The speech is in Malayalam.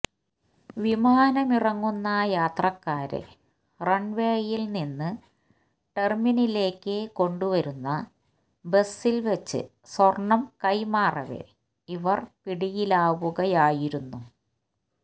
വിമാനമിറങ്ങുന്ന യാത്രക്കാരെ റണ്വേയില് നിന്ന് ടെര്മിനലിലേക്ക് കൊണ്ടുവരുന്ന ബസില്വച്ച് സ്വര്ണം കൈമാറവെ ഇവർ പിടിയിലാവുകയായിരുന്നു